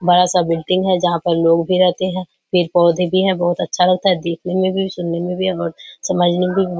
बड़ा सा बिल्डिंग है जहाँ पर लोग भी रहते हैं | पेड़ पौधे भी हैं बहुत अच्छा लगता है देखने में भी सुनने में भी समझने में भी --